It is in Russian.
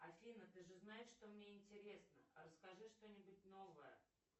афина ты же знаешь что мне интересно расскажи что нибудь новое